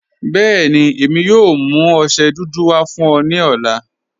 Bẹẹni, èmi yóò mú ọṣẹ dúdú wà fún ọ ni ọlá.